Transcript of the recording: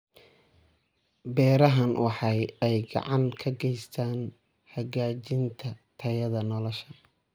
Beerahani waxa ay gacan ka geystaan ??hagaajinta tayada nolosha.